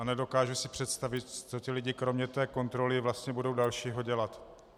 A nedokážu si představit, co ti lidé kromě té kontroly vlastně budou dalšího dělat.